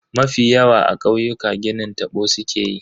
Mafi yawa a kauyuka ginin tabo sukeyi.